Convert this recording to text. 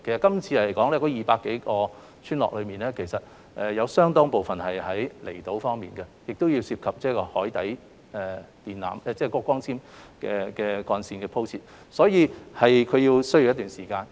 這次的200多個村落中其實有相當部分是位於離島，涉及海底電纜或光纖幹線的鋪設，所以是需要一段時間。